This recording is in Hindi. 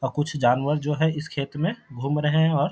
और कुछ जानवर जो है इस खेत मे घूम रहे है और --